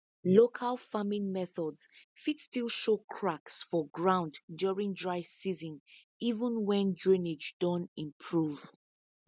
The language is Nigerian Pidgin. local farming methods fit still show cracks for ground during dry season even when drainage don improve